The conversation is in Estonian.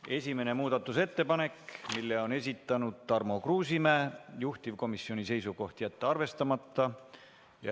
Esimene muudatusettepanek, mille on esitanud Tarmo Kruusimäe, juhtivkomisjoni seisukoht on jätta arvestamata.